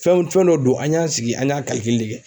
Fɛnw fɛn dɔ don an y'an sigi an y'a